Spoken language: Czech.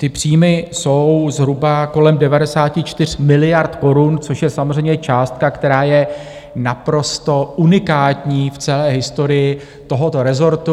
Ty příjmy jsou zhruba kolem 94 miliard korun, což je samozřejmě částka, která je naprosto unikátní v celé historii tohoto rezortu.